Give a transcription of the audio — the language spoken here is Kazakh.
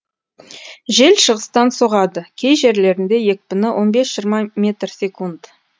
жел шығыстан соғады кей жерлерінде екпіні он бес жиырма метр секунд